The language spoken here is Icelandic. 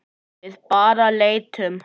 Við bara leitum.